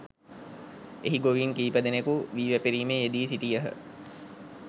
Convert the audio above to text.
එහි ගොවීන් කීපදෙනෙකු වී වැපිරීමේ යෙදී සිටියහ